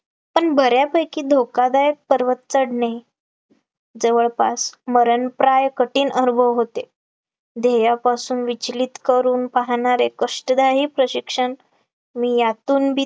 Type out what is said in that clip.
पण बऱ्यापैकी धोकादायक पर्वत चढणे, जवळपास मरणप्राय कठीण अनुभव होते, ध्येयापासून विचलित करू पाहणारे कष्टदायी प्रशिक्षण मी यांतूनबी